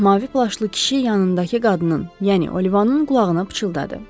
Mavi plaşlı kişi yanındakı qadının, yəni Olivanın qulağına pıçıldadı.